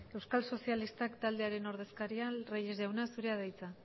euskal sozialistak taldearen ordezkaria reyes jauna zurea da hitza